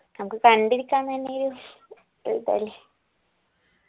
നമുക്ക് കണ്ടിരിക്കാൻ തന്നെയൊരു